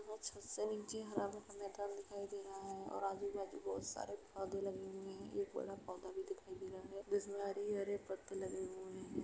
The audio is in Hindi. यहाँ छत से नीचे हरा-भरा मैदान दिखाई दे रहा है और आजू-बाजू बहोत सारे पौधे लगे हुए हैं। एक बड़ा पौधा भी दिखाई दे रहा है जिसमे हरे-हरे पत्ते लगे हुए हैं।